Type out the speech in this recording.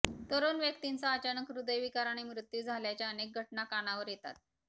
तरुण व्यक्तींचा अचानक हृदयविकाराने मृत्यू झाल्याच्या अनेक घटना कानावर येतात